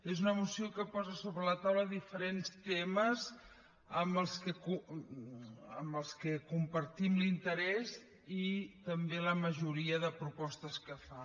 és una moció que posa a sobre la taula diferents temes pels quals compartim l’interès i també la majoria de propostes que fa